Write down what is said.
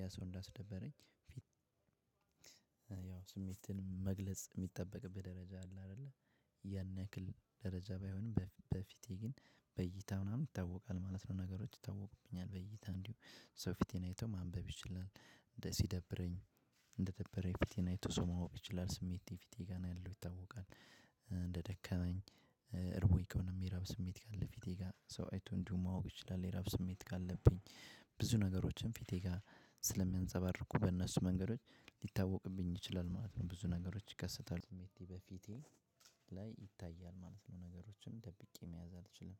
ያ ሰው እንዳስደበረኝ አስደበረኝ። ፊ ያው ስሜትህን መግለጽ ሚጠበቅብህ ደረጃ አለ። አይደለ ያን ያክል ደረጃ ባይሆንም በፍ በፊቴ ግን በእይታ ምናምን ይታወቃል ማለት ነው። ነገሮች ይታወቁብኛል በእይታ እንዲሁ ሰው ፊቴን አይቶ ማንበብ ይችላል። እንደ ሲደብረኝ እንደደበረኝ ፊቴን አይቶ ሰው ማወቅ ይችላል ስሜቴ ፊቴ ጋር ነው ያለው ይታወቃል። እንደደከመኝ እርቦኝ ከሆነም የረሃብ ስሜት ካለ ፊቴ ጋር ሰው አይቶ እንዲሁ ማወቅ ይችላል። የረሃብ ስሜት ካለብኝ ብዙ ነገሮችን ፊቴ ጋር ስለሚያንፀባርቁ በእነሱ መንገዶች ሊታወቅብኝ ይችላል ማለት ነው። ብዙ ነገሮች ይከሰታሉ ስሜቴ በፊቴ ላይ ይታያል ማለት ነው። ነገሮችን ጠብቄ መያዝ አልችልም